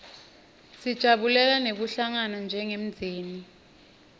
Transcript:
sijabulela nekuhlangana njengemndzeni